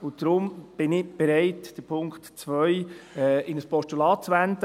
Deshalb bin ich bereit, den Punkt 2 in ein Postulat zu wandeln.